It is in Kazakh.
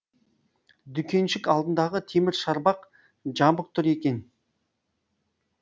дүкеншік алдындағы темір шарбақ жабық тұр екен